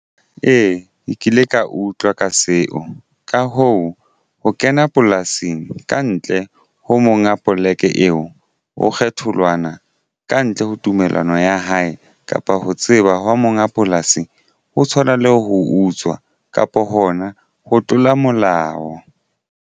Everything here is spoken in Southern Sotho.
Ee, ke kile ka utlwa ka seo. Ka hoo, ho kena polasing kantle ho monga poleke eo ho kgethollwana kantle ho tumellano ya hae kapa ho tseba hwa monga polasi ho tshwana le ho utswa kapo hona ho tlola molao.